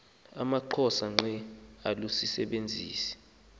amaxhosa ngqe alusisebenzisi